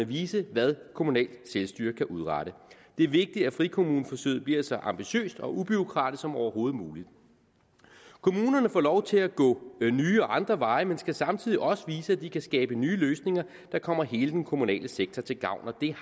vise hvad kommunalt selvstyre kan udrette det er vigtigt at frikommuneforsøget bliver så ambitiøst og ubureaukratisk som overhovedet muligt kommunerne får lov til at gå nye og andre veje men skal samtidig også vise at de kan skabe nye løsninger der kommer hele den kommunale sektor til gavn og det